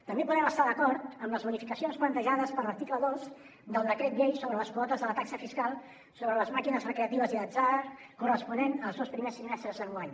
també podem estar d’acord amb les bonificacions plantejades per l’article dos del decret llei sobre les quotes de la taxa fiscal sobre les màquines recreatives i d’atzar corresponents als dos primers trimestres d’enguany